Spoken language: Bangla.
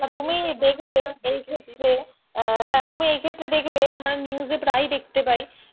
না না তুমি দেখবে এই ক্ষেত্রে, হ্যাঁ এই ক্ষেত্রে তুমি দেখবে আমরা news এ প্রাই দেখতে পায়,